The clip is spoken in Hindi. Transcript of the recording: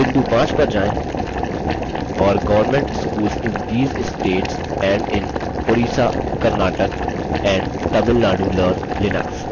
बिंदु 5 पर जाएँ और government schools in these states and in orissa karnataka and tamil nadu learn linux